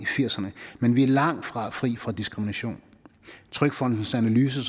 firserne men vi er langtfra fri for diskrimination trygfondens analyse